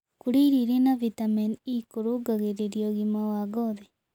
Kũrĩa irio ĩrĩ na vĩtamenĩ e kũrũngagĩrĩrĩa ũgima wa ngothĩ